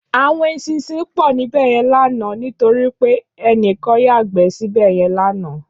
Áwòn éṣìnṣìn pò níbèyèn làná nitóri pé ènikán yágbè sibèyèn làná